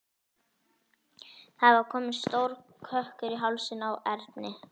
Það var kominn stór kökkur í hálsinn á Erni.